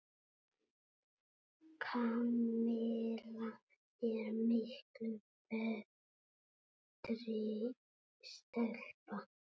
Kamilla er miklu betri stelpa.